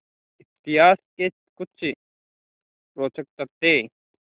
इतिहास के कुछ रोचक तथ्य